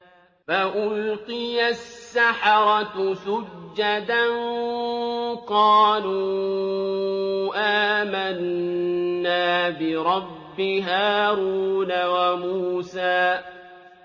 فَأُلْقِيَ السَّحَرَةُ سُجَّدًا قَالُوا آمَنَّا بِرَبِّ هَارُونَ وَمُوسَىٰ